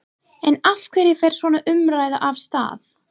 En af hverju fer svona umræða af stað?